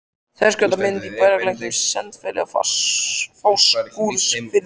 Þverskurðarmynd af bergeitlinum Sandfelli í Fáskrúðsfirði.